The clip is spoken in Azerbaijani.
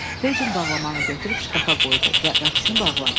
Feycin bağlamanı götürüb şkafa qoydu və qapısını bağladı.